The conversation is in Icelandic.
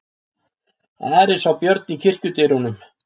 Ari sá Björn í kirkjudyrunum.